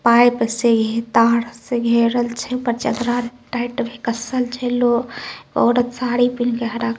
pipe से तार से घेरल छै ऊपर चदरा कसल छै लोह औरत साड़ी पिहीन के हरा----